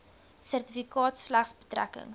sertifikaat slegs betrekking